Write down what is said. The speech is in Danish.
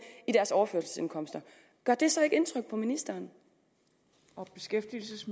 i deres overførselsindkomster gør det så ikke indtryk på ministeren